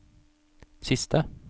siste